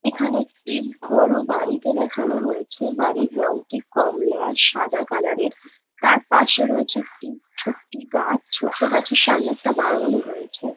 এখানে একটি বড় বাড়িকে দেখানো হয়েছে। বাড়ির রংটি কমলা সাদা কালার -এর তার পাশে রয়েছে একটি ছোট্ট গাছ ছোট্ট গাছের সামনে একটা বাগানও রয়েছে ।